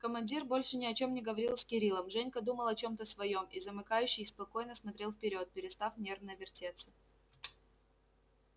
командир больше ни о чём не говорил с кириллом женька думал о чём-то своём и замыкающий спокойно смотрел вперёд перестав нервно вертеться